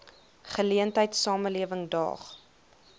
geleentheid samelewing daag